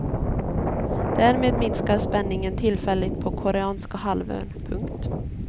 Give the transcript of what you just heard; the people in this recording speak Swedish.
Därmed minskar spänningen tillfälligt på koreanska halvön. punkt